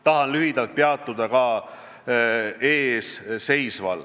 Tahan lühidalt peatuda ka eesseisval.